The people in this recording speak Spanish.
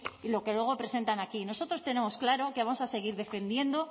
y lo que luego presentan aquí nosotros tenemos claro que vamos a seguir defendiendo